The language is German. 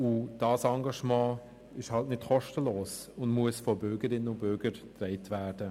Dieses Engagement ist nicht kostenlos und muss von Bürgerinnen und Bürgern getragen werden.